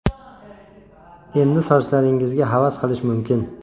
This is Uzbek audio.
Endi sochlaringizga havas qilish mumkin!